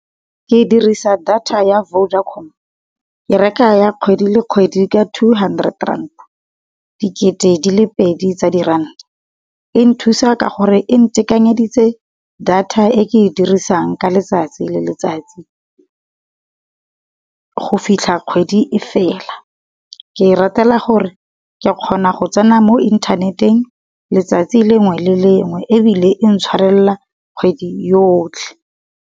Ke dirisa data ya Vodacom, ke reka ya kgwedi le kgwedi ka two hundred rand, dikete di le pedi tsa di ranta. E nthusa ka gore e ntekanyeditse data e ke e dirisang ka letsatsi le letsatsi, go fitlha kgwedi e fela. Ke e ratela gore ke kgona go tsena mo inthaneteng letsatsi lengwe le lengwe ebile intshwarela kgwedi yotlhe.